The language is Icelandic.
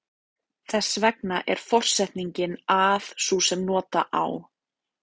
Þess vegna er forsetningin að sú sem nota á.